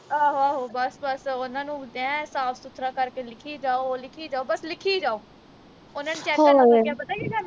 ਆਹੋ ਆਹੋ ਬਸ ਬਸ ਉਨਾਂ ਨੂੰ ਐ ਸਾਫ ਸੁਥਰਾ ਕਰਕੇ ਲਿਖੀ ਜਾਓ ਲਿਖੀ ਜਾਓ ਬਸ ਲਿਖੀ ਜਾਓ ਉਨ੍ਹਾਂ ਨੇ check ਕਰਨ ਲੱਗਿਆ ਪਤਾ ਕੀ ਕਰਨਾ